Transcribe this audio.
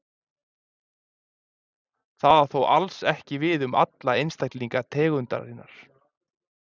Það á þó alls ekki við um alla einstaklinga tegundarinnar.